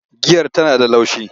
Giyar Tana da laushi.